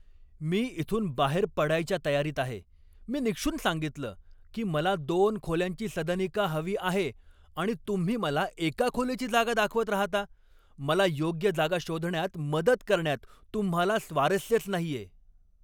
मी इथून बाहेर पडायच्या तयारीत आहे. मी निक्षून सांगितलं की मला दोन खोल्यांची सदनिका हवी आहे आणि तुम्ही मला एका खोलीची जागा दाखवत राहता. मला योग्य जागा शोधण्यात मदत करण्यात तुम्हाला स्वारस्यच नाहीये.